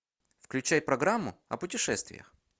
включай программу о путешествиях